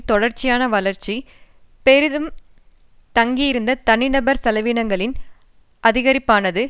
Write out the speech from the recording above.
தொடர்ச்சியான வளர்ச்சி பெரிதும் தங்கியிருந்த தனிநபர் செலவீனங்களின் அதிகரிப்பானது